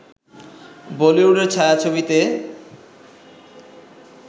বলিউডের ছায়াছবিতে